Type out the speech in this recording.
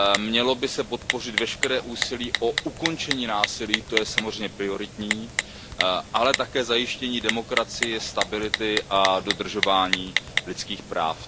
Mělo by se podpořit veškeré úsilí o ukončení násilí, to je samozřejmě prioritní, ale také zajištění demokracie stability a dodržování lidských práv.